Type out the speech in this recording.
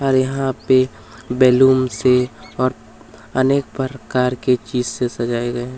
और यहाँ पे बैलून से और अनेक परकार की चीज से सजाए गए हैं।